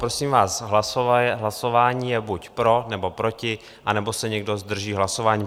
Prosím vás, hlasování je buď pro, nebo proti, anebo se někdo zdrží hlasování.